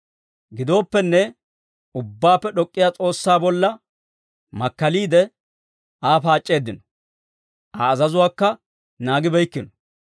Gidooppenne, Ubbaappe D'ok'k'iyaa S'oossaa bolla makkaliide, Aa paac'c'eeddino. Aa azazuwaakka naagibeykkino.